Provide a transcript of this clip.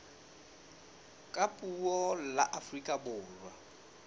ka puo la afrika borwa